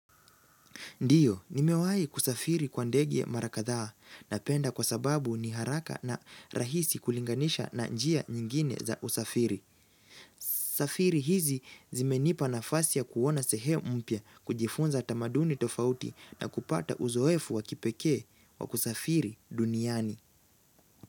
Ndio, nimewahi kusafiri kwa ndege mara kadhaa napenda kwa sababu ni haraka na rahisi kulinganisha na njia nyingine za usafiri. Safiri hizi zimenipa nafasi ya kuona sehemu mpya, kujifunza tamaduni tofauti na kupata uzoefu wa kipekee wa kusafiri duniani.